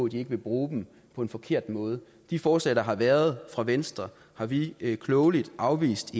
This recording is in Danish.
de ikke vil bruge dem på en forkert måde de forslag der har været fra venstre har vi i enhedslisten klogeligt afvist